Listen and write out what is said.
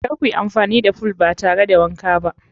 Kar kuyi amfani da fool ba tare da wanka ba.